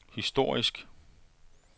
historisk